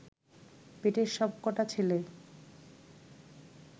পেটের সব কটা ছেলে